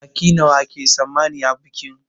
Baƙi nawa ake tsammani a bikin?